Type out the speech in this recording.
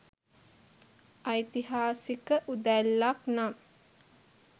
ඓතිහාසික උදැල්ලක් නම්